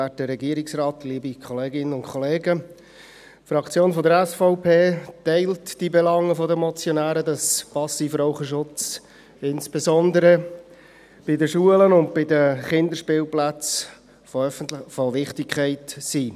Die Fraktion der SVP teilt die Belange der Motionäre, dass Passivrauch-Schutz insbesondere bei den Schulen und Kinderspielplätzen von Wichtigkeit ist.